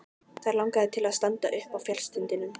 Þær langaði til að standa uppi á fjallstindinum.